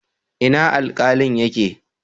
Ina Alkalin yake?